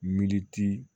Militi